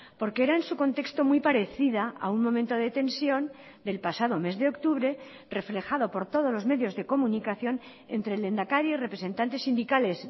porque era en su contexto muy parecida a un momento de tensión del pasado mes de octubre reflejado por todos los medios de comunicación entre el lehendakari y representantes sindicales